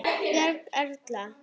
Björg Erla.